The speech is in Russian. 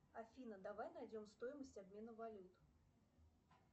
афина давай найдем стоимость обмена валют